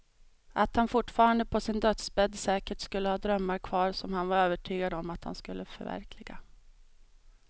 Att han fortfarande på sin dödsbädd säkert skulle ha drömmar kvar som han var övertygad om att han skulle förverkliga.